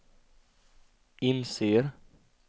inser